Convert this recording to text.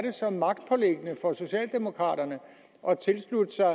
er så magtpåliggende for socialdemokraterne at tilslutte sig